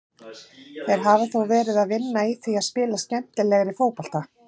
Þeir hafa þó verið að vinna í því að spila skemmtilegri fótbolta.